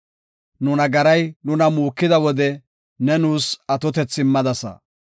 Nu nagaray nuna muukida wode, ne nuus atotethi immadasa.